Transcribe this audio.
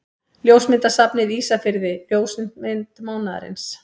Ljósmyndasafnið Ísafirði Ljósmynd mánaðarins.